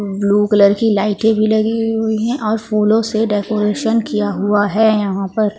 Blue colour की लाइटें लगी हुई हैं और फूलों से डेकोरेशन किया हुआ है यहां पर।